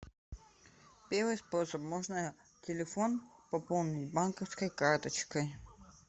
первый способ можно телефон пополнить банковской карточкой